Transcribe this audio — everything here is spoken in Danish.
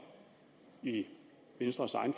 i venstres egen